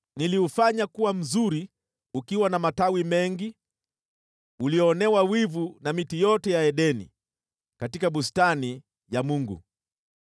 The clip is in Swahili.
Niliufanya kuwa mzuri ukiwa na matawi mengi, ulionewa wivu na miti yote ya Edeni katika bustani ya Mungu.